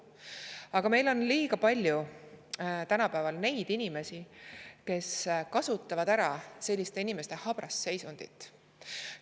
Aga meil on tänapäeval liiga palju inimesi, kes selliste inimeste habrast seisundit ära kasutavad.